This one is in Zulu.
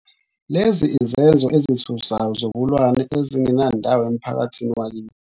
Lezi izenzo ezithusayo zobulwane ezingenandawo emphakathini wakithi.